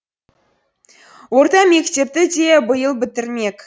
орта мектепті де биыл бітірмек